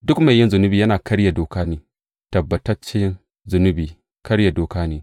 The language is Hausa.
Duk mai yin zunubi yana karya doka ne; tabbatacce, zunubi, karya doka ne.